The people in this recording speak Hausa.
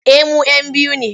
Eh mu'yan biyu ne.